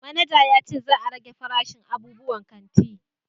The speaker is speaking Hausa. Manaja ya ce za a rage farashin abubuwan kanti